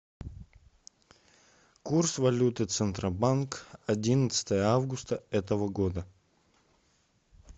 курс валюты центробанк одиннадцатое августа этого года